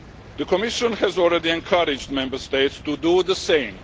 The Commission has already encouraged Member States to do the same.